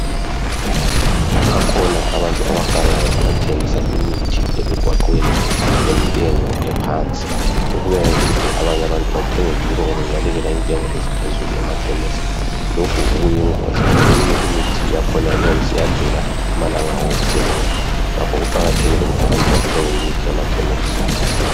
Kubakhona abantu abagangayo abathengisa imithi emigwaqweni ngentengo ephansi. Lokhu kwenza ukuthi abanye abantu bathenge kibo ngoba bebalekela intengo eziphezulu emakhemesi lokhu kuyingozi ngoba eminye imithi yakhona iyabe seyadlula amalanga awo okusebenza, ngakho kuqakathekile ukuthi abantu bathenge imithi emakhemesi.